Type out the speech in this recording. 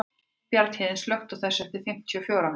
Bjarnhéðinn, slökktu á þessu eftir fimmtíu og fjórar mínútur.